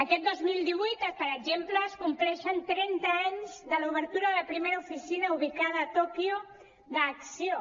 aquest dos mil divuit per exemple es compleixen trenta anys de l’obertura de la primera oficina ubicada a tòquio d’acció